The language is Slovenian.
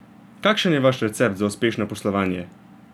Kakšen je vaš recept za uspešno poslovanje?